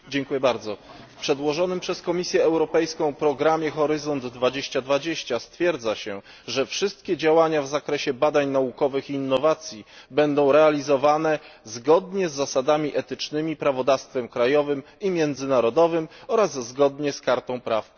W przedłożonym przez Komisję Europejską programie Horyzont 2020 stwierdza się, wszystkie działania w zakresie badań naukowych i innowacji będą realizowane zgodnie z zasadami etycznymi, prawodawstwem krajowym i międzynarodowym oraz zgodnie z kartą praw podstawowych.